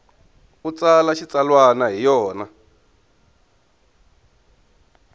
u tsala xitsalwana hi yona